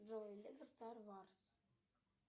джой лего стар варс